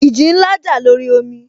Ìjì ńlá jà lórí omi